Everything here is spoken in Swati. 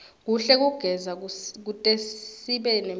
kuhle kugeza kutesibe nemphilo